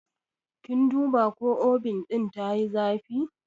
Kin duba ko Obin ɗin tayi zafi?